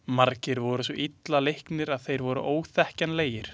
Margir voru svo illa leiknir að þeir voru óþekkjanlegir.